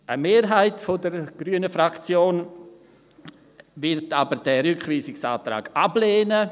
Eine Mehrheit der grünen Fraktion wird aber den Rückweisungsantrag ablehnen.